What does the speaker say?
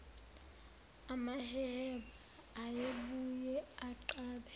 amaheheba ayebuye anqabe